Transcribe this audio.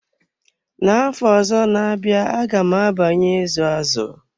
Na afọ ọzọ na-abịa aga m abanye izu azụ.